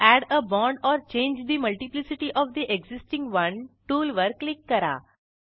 add a bond or change the multiplicity of the existing one tool वर click करा